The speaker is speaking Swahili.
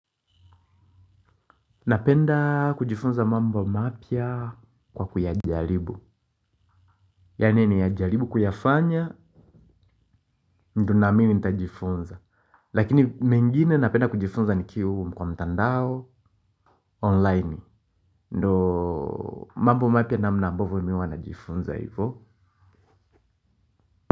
Napenda kujifunza mambo mapya kwa kuyajaribu. Yaani niyajaribu kuyafanya, ndo nami nitjifunza. Lakini mengine napenda kujifunza nikiwa kwa mtandao online. Ndio mambo mapya namna ambavyo mimi huwa najifunza hivo.